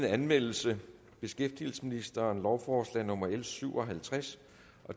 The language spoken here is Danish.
anmeldelse beskæftigelsesministeren lovforslag nummer l syv og halvtreds